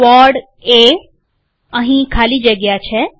Quad એઅહીં ખાલી જગ્યા છે